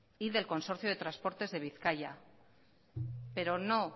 y del consorcio de transporte de bizkaia pero no